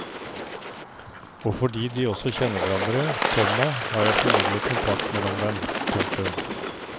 Og fordi de også kjenner hverandre, komma har jeg formidlet kontakt mellom dem. punktum